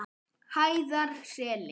Hæðarseli